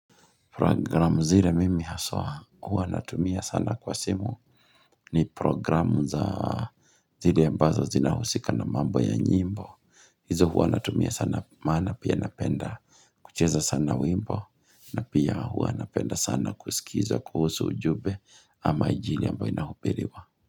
Programu zile mimi haswa huwa natumia sana kwa simu ni programu za zile ambazo zina husika na mambo ya nyimbo. Hizo huwa natumia sana maana pia napenda kucheza sana wimbo na pia huwa napenda sana kusikiza kuhusu ujumbe ama injili ambayo inahubiriwa.